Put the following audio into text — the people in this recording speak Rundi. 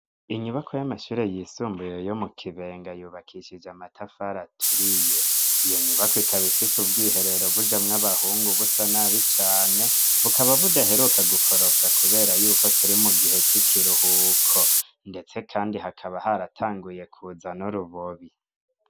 Inyubakwa y'amashure yisumbuye yo mu Kibenga yubakishije amatafari aturiye. Iyo nyubakwa ikaba ifise ubwiherero bujamwo abahungu busa nabi cane, bukaba budaheruka gukoropwa kubera yuko turi mu gihe c'ikiruhuko. Ndetse kandi hakaba haratanguye kuza n'urubobi.